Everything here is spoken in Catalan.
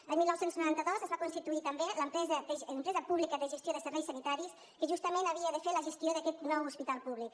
l’any dinou noranta dos es va constituir també l’empresa pública de gestió de serveis sanitaris que justament havia de fer la gestió d’aquest nou hospital públic